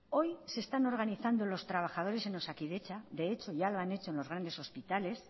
hoy se están organizando los trabajadores en osakidetza de hecho ya lo han hecho en los grandes hospitales